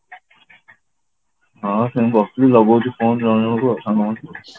ହଁ ସେମିତି ବସିଥିଲି ଲଗଉଛି phone ଜଣ ଜଣଙ୍କୁ ଆଉ